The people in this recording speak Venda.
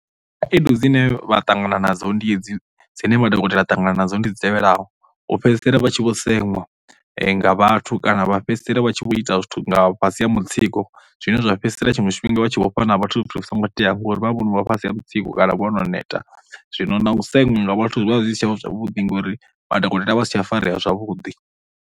Khaedu dzine vha ṱangana nadzo ndi hedzi, dzine madokotela a ṱangana nadzo ndi dzi tevhelaho. U fhedzisela vha tshi vho seṅwa nga vhathu kana vha fhedzisela vha tshi vho ita zwithu nga fhasi ha mutsiko zwine zwa fhedzisela tshiṅwe tshifhinga vha tshi vho fha na vhathu zwithu zwi songo tea ngori vha vhono vha fhasi ha mutsiko kana vho no neta zwino na u seṅwa nga vhathu vha zwi si tsha vha zwavhuḓi ngori madokotela a vha a si tsha farea zwavhuḓi.